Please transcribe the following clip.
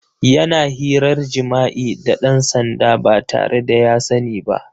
Yana hirar jima'i da ɗan sanda ba tare da ya sani ba.